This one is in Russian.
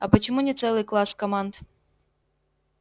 а почему не целый класс команд